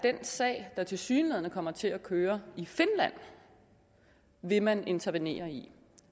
at den sag der tilsyneladende kommer til at køre i finland vil man intervenere i